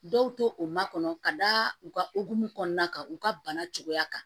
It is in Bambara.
Dɔw to o makɔnɔ ka da u ka hokumu kɔnɔna kan u ka bana cogoya kan